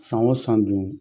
San o san duun